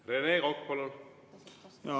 Rene Kokk, palun!